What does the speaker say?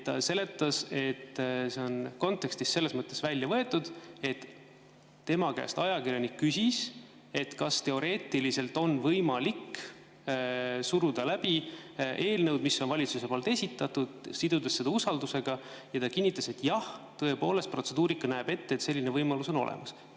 Ta seletas, et see on kontekstist selles mõttes välja võetud, et tema käest ajakirjanik küsis, kas teoreetiliselt on võimalik suruda läbi eelnõu, mis on valitsuse esitatud, sidudes seda usaldus, ja ta kinnitas, et jah, tõepoolest, protseduurika näeb ette, et selline võimalus on olemas.